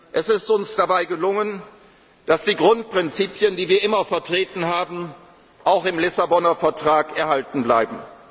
Es ist uns dabei gelungen, dass die Grundprinzipien, die wir immer vertreten haben, auch im Lissabonner Vertrag erhalten